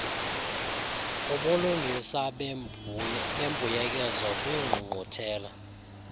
kubulungisa bembuyekezo kwiingqungquthela